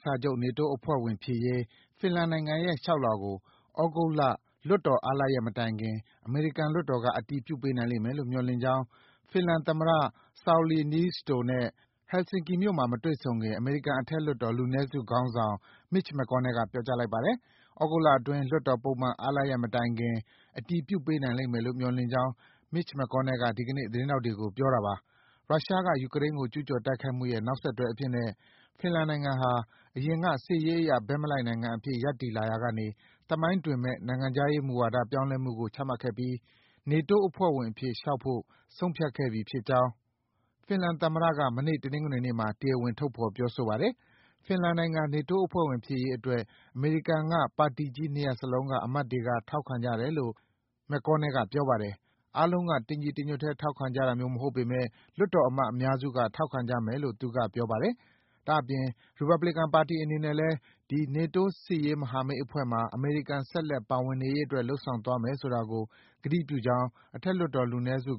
စာချုပ် နေတိုး အဖွဲ့ဝင်ဖြစ်ရေး ဖင်လန်နိုင်ငံရဲ့ လျှောက်လွှာကို သြဂုတ်လ လွှတ်တော်အားလပ်ရက်မတိုင်ခင် အမေရိကန်လွှတ်တော်က အတည်ပြုပေးနိုင်မယ်လို့ မျှော်လင့်ကြောင်း ဖင်လန် သမ္မတ Sauli Niinisto နဲ့ Helsinki မြို့မှာ မတွေ့ဆုံခင် အမေရိကန်အထက်လွှတ်တော် လူနည်းစုခေါင်းဆောင် Mitch McConnell က ပြောကြားလိုက်ပါတယ်။ သြဂုတ်လအတွင်း လွှတ်တော် ပုံမှန်အားလပ်ရက်မတိုင်ခင် အတည်ပြုပေးနိုင်လိမ့်မယ်လို့ မျှော်လင့်ကြောင်း Mitch McConnell က ဒီကနေ့ သတင်းထောက်တွေကို ပြောပါတယ်။ ရုရှားက ယူကရိန်းကို ကျူးကျော်တိုက်ခိုက်မှုရဲ့ နောက်ဆက်တွဲအဖြစ်နဲ့ ဖင်လန်နိုင်ငံဟာ အရင်က စစ်ရေးအရ ဘက်မလိုက်နိုင်ငံအဖြစ် ရပ်တည်လာရာကနေ သမိုင်းတွင်မယ့် နိုင်ငံခြားရေးမူဝါဒ ပြောင်းလဲမှုကို ချမှတ်ခဲ့ပြီး နေတိုးအဖွဲ့ဝင်အဖြစ် လျှောက်ဖို့ ဆုံးဖြတ်လိုက်ပြီဖြစ်ကြောင်း ဖင်လန်သမ္မတက မနေ့ တနင်္ဂနွေနေ့မှာ တရားဝင် ထုတ်ဖော်ပြောဆိုပါတယ်။ ဖင်လန်နိုင်ငံ နေတိုးအဖွဲ့ဝင်ဖြစ်ရေးအတွက် အမေရိကန်က ပါတီကြီး ၂ ရပ်စလုံးက အမတ်တွေက ထောက်ခံကြတယ်လို့ McConnell က ပြောပါတယ်။ အားလုံးက တညီတညွတ်တည်း ထောက်ခံကြတာမျိုးမဟုတ်ပေမယ့် လွှတ်တော်အမတ် အများစုက ထောက်ခံကြမယ်လို့ သူက ပြောပါတယ်။ ဒါ့အပြင် ရီပတ်ဘလီကန်ပါတီအနေနဲ့လည်း ဒီ နေတိုး စစ်ရေးမဟာမိတ်အဖွဲ့မှာ အမေရိကန် ဆက်လက် ပါဝင်နေရေးအတွက် လုပ်ဆောင်သွားမယ်ဆိုတာကို ကတိပြုကြောင်း အထက်လွှတ်တော် လူနည်းစု